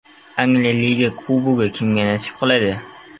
Angliya Liga Kubogi kimga nasib qiladi?